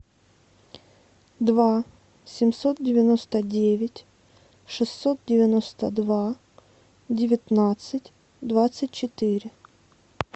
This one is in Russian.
два семьсот девяносто девять шестьсот девяносто два девятнадцать двадцать четыре